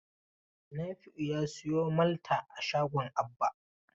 Nafi'u ya sayo Malta a shagon Abba.